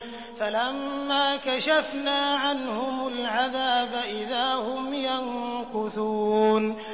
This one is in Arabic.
فَلَمَّا كَشَفْنَا عَنْهُمُ الْعَذَابَ إِذَا هُمْ يَنكُثُونَ